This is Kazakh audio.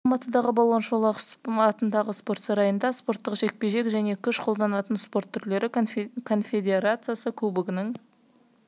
желтоқсанда алматыдағы балуан шолақ атындағы спорт сарайында спорттық жекпе-жек және күш қолданатын спорт түрлері конфедерациясы кубогының